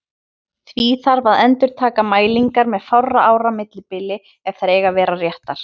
Því þarf að endurtaka mælingar með fárra ára millibili ef þær eiga að vera réttar.